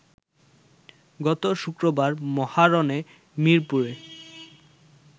গত শুক্রবার মহারণে মিরপুরে